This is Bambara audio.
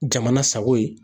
Jamana sago ye